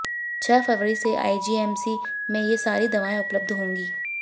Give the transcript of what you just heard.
छह जनवरी से आईजीएमसी में ये सारी दवाइयां उपलब्ध होंगी